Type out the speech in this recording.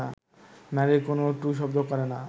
নারীরা কোনও টুঁ শব্দ করে না